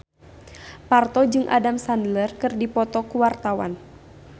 Parto jeung Adam Sandler keur dipoto ku wartawan